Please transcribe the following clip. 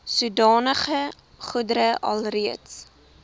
sodanige goedere alreeds